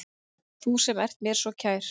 Þú sem ert mér svo kær.